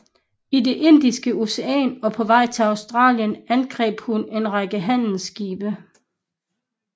I det Indiske Ocean og på vej til Australien angreb hun en række handelsskibe